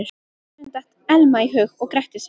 Honum datt Elma í hug og gretti sig.